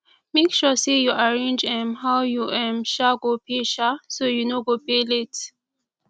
mek sure say yu arrange um how yu um um go pay um so yu no go pay late